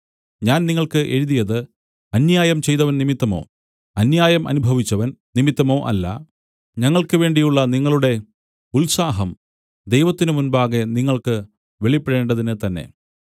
ഞാൻ നിങ്ങൾക്ക് എഴുതിയത് അന്യായം ചെയ്തവൻ നിമിത്തമോ അന്യായം അനുഭവിച്ചവൻ നിമിത്തമോ അല്ല ഞങ്ങൾക്ക് വേണ്ടിയുള്ള നിങ്ങളുടെ ഉത്സാഹം ദൈവത്തിനു മുമ്പാകെ നിങ്ങൾക്ക് വെളിപ്പെടേണ്ടതിന് തന്നെ